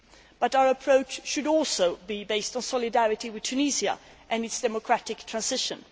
But our approach should also be based on solidarity with Tunisia and its democratic transition.